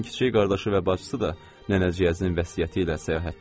Onun kiçik qardaşı və bacısı da nənəciyəzinin vəsiyyəti ilə səyahətdədir.